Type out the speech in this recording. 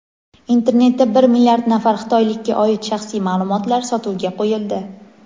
Internetda bir milliard nafar xitoylikka oid shaxsiy ma’lumotlar sotuvga qo‘yildi.